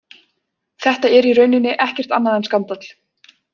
Þetta er í rauninni ekkert annað en skandall.